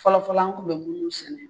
Fɔlɔfɔlɔ an kun be munnu sɛnɛ